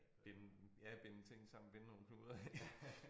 Binde ja binde ting sammen binde nogle knuder ik